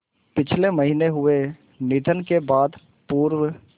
पिछले महीने हुए निधन के बाद पूर्व